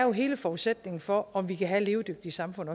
hele forudsætningen for om vi kan have et levedygtigt samfund